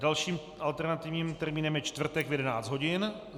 Dalším alternativním termínem je čtvrtek v 11 hodin.